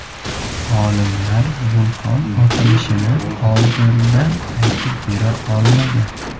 Olimlar vulqon otilishini oldindan aytib bera olmagan.